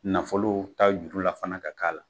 Nafolo ta juru la fana k'a k'a la